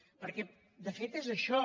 perquè de fet és això